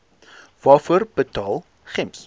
waarvoor betaal gems